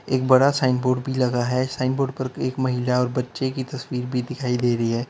एक बड़ा sign board भी लगा है साइन बोर्ड पर एक महिला और बच्चे की तस्वीर भी दिखाई दे रही है।